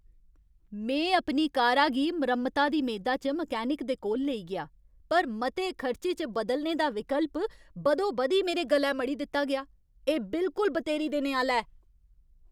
में अपनी कारा गी मरम्मता दी मेदा च मैकेनिक दे कोल लेई गेआ, पर मते खर्चे च बदलने दा विकल्प बदोबदी मेरे गलै मढ़ी दित्ता गेआ! एह् बिलकुल बतेरी देने आह्‌ला ऐ।